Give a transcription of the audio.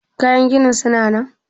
Kayan ginin suna nan?